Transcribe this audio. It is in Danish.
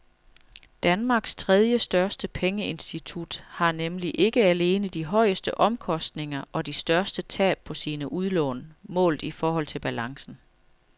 Danmarks tredjestørste pengeinstitut har nemlig ikke alene de højeste omkostninger og de største tab på sine udlån målt i forhold til balancen.